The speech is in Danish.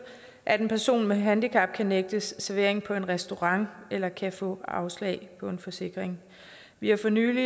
at en person med handicap kan nægtes servering på en restaurant eller kan få afslag på en forsikring vi har for nylig